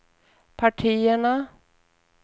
partierna